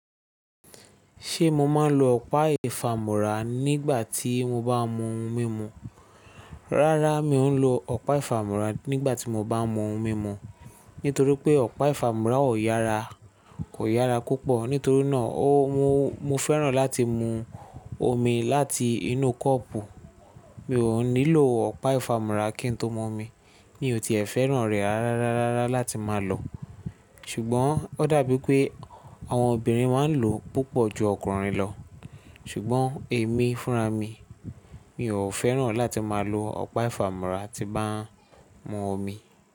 Ṣé mo máa ń lo ọ̀pá ìfamúra nígbà tí mo bá mú ohun mímu? Rárá, mi ò ń lo ọ̀pá ìfamúra nígbà tí mo bá mú ohun mímu, nítorí pé ọ̀pá ìfamúra kò yára púpọ̀. Nítorí náà, mo fẹ́ràn láti mu omi láti inú kọ́ọ̀pù. Mi ò nílò ọ̀pá ìfamúra kí ń tó mọ omi, ní ò ti ẹ̀ fẹ́ràn rẹ̀ rára rárá láti máa lò. Ṣùgbọ́n ó dàbí pé àwọn obìnrin máa ń lò púpọ̀ ju ọkùnrin lọ. Ṣùgbọ́n èmi fúnra mi, mi ò fẹ́ràn láti máa lo ọ̀pá ìfamúra tí bá ń mú omi.